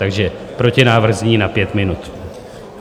Takže protinávrh zní na pět minut.